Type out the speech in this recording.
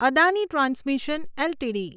Adani transmission LTD